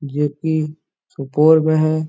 जो की सुपौल में है।